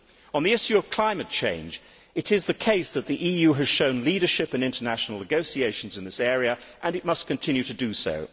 On the issue of climate change, it is the case that the EU has shown leadership in international negotiations in this area and it must continue to do so.